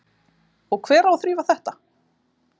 Og hver á að þrífa þetta?